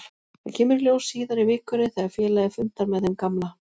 Það kemur í ljós síðar í vikunni þegar félagið fundar með þeim gamla.